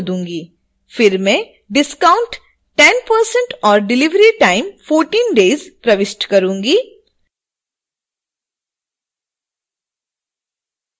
फिर मैं discount 10% और delivery time 14 days प्रविष्ट करूंगी